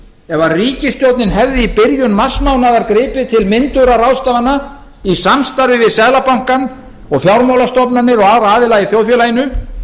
ef ríkisstjórnin hefði í byrjun marsmánaðar gripið til myndugra ráðstafana í samstarfi við seðlabankann og fjármálastofnanir og aðra aðila í þjóðfélaginu